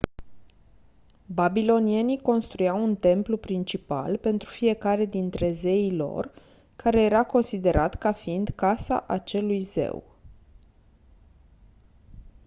babilonienii construiau un templu principal pentru fiecare dintre zeii lor care era considerat ca fiind casa acelui zeu